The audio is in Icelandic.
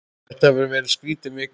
Þetta hefur verið skrítin vika.